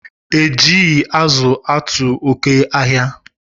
E jighi azu atu oke ahia